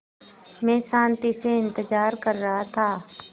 मैं शान्ति से इंतज़ार कर रहा था